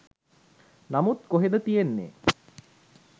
නමුත් කොහෙද තියෙන්නේ